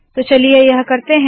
तो चलिए यह करते है